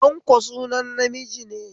Tanko sunan namiji ne